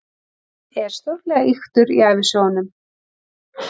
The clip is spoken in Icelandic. Hann er stórlega ýktur í ævisögunum.